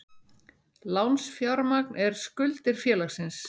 Lánsfjármagn er skuldir félagsins.